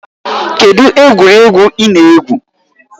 Kedụ egwuregwu ị na-egwu?